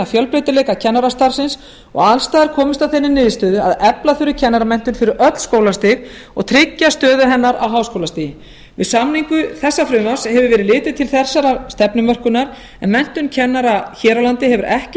fjölbreytileika kennarastarfsins og alls staðar komist að þeirri niðurstöðu að efla þurfi kennaramenntun fyrir öll skólastig og tryggja stöðu hennar á háskólastigi við samningu þessa frumvarps hefur verið litið til þessarar stefnumörkunar en menntun kennara hér á landi hefur ekki